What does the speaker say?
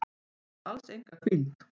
Ég vil alls enga hvíld.